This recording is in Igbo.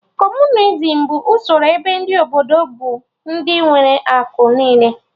Kọmunizim bụ usoro ebe ndị Obodo bụ ndị nwere akụ niile